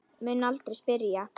Mun aldrei spyrja.